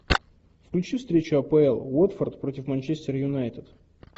включи встречу апл уотфорд против манчестер юнайтед